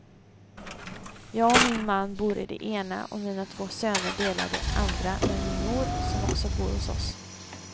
Jag och min man bor i det ena och mina två söner delar det andra med min mor som också bor hos oss.